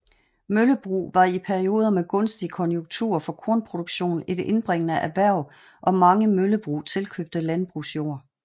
Møllebrug var i perioder med gunstige konjunkturer for kornproduktion et indbringende erhverv og mange møllebrug tilkøbte landbrugsjord